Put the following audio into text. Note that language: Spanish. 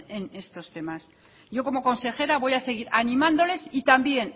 en estos temas yo como consejera voy a seguir animándoles y también